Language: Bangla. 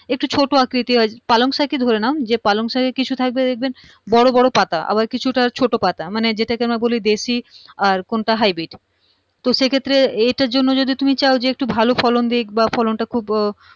একটু ছোটো আকৃতি হয় পালংশাক ই ধরে নাও যে পালংশাকে কিছু থাকবে দেখবেন বড়োবড়ো পাতা আবার কিছুটা ছোটো পাতা মানে যেটাকে আমরা বলি দেশি আর কোনটা hybrid তো সেক্ষেত্রে এটার জন্য যদি তুমি চাও যে একটু ভালো ফলন দিক বা ফলনটা খুব